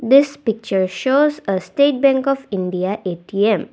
this picture shows a state bank of India A_T_M.